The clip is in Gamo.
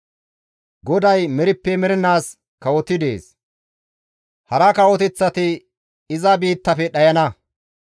GODAY merippe mernaas kawotidi dees; hara kawoteththati iza biittafe dhayana.